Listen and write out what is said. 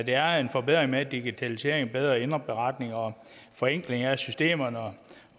er en forbedring med digitalisering og bedre indberetning og forenkling af systemerne og